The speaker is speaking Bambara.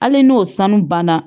Hali n'o sanu banna